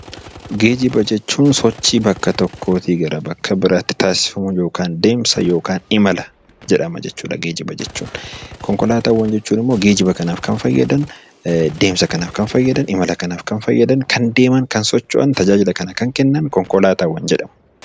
Geejjiba jechuun sochii bakka tokkoo bakka biraatti taasifamu deemsa yookiin imala jedhama jechuudha geejjiba jechuun. Konkolaataawwan jechuun immoo geejjiba kanaaf kan fayyadan deemsa kanaaf kan fayyadan kan deeman kan socho'an konkolaataa jedhamu.